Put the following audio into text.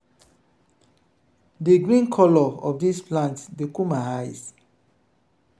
di green colour of dis plant dey cool my eyes.